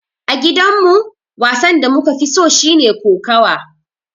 A gidan mu, wasan da muka fi so shine kokawa.